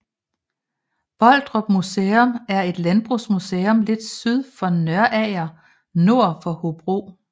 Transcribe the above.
Boldrup Museum er et landbrugsmuseum lidt syd for Nørager nord for Hobro